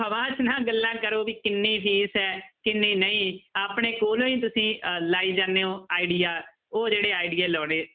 ਹਵਾ 'ਚ ਨਾ ਗੱਲਾਂ ਕਰੋ ਵੀ ਕਿੰਨੀ ਫੀਸ ਹੈ ਕਿੰਨੀ ਨਹੀਂ ਆਪਣੇ ਕੋਲੋਂ ਹੀ ਤੁਸੀਂ ਅਹ ਲਾਈ ਜਾਂਦੇ ਹੋ idea ਉਹ ਜਿਹੜੇ idea ਲਾਉਨੇ